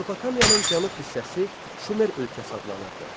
Mesopotamiyanın cənub hissəsi Şumer ölkəsi adlanırdı.